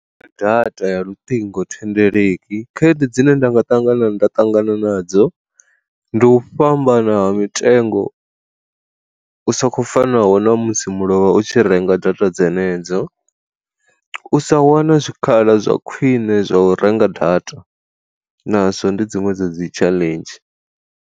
Data ya luṱingo thendeleki khaedu dzine nda nga ṱangana nda ṱangana nadzo, ndi u fhambana ha mitengo u sokou fanaho na musi mulovha u tshi renga data dzenedzo, u sa wana zwikhala zwa khwine zwa u renga data nazwo ndi dziṅwe dza dzi tshaḽenzhi.